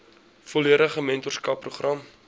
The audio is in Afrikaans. volledige mentorskap program